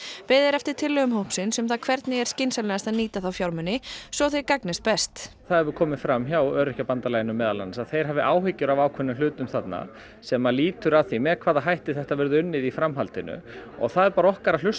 beðið er eftir tillögum hópsins um það hvernig er skynsamlegast að nýta þá fjármuni svo þeir gagnist sem best það hefur komið fram hjá Öryrkjabandalaginu meðal annars að þeir hafi áhyggjur af ákveðnum hlutum þarna sem lítur að því með hvaða þætti þetta verður unnið í framhaldinu og það er bara okkar að hlusta